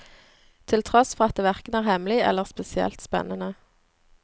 Til tross for at det verken er hemmelig eller spesielt spennende.